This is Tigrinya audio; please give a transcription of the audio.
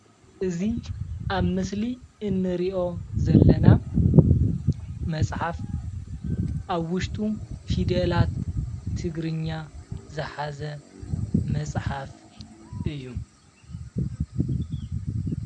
እዚ ኣብ ምስሊ እንሪኦ ዘለና መፅሓፍ ኣብ ዉሽጡ ፊደላት ትግርኛ ዝሓዘ መፅሓፍ እዩ።